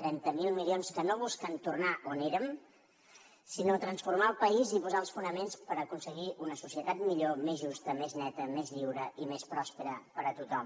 trenta miler milions que no busquen tornar on érem sinó transformar el país i posar els fonaments per aconseguir una societat millor més justa més neta més lliure i més pròspera per a tothom